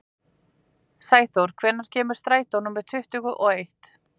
Sæþór, hvenær kemur strætó númer tuttugu og eitt?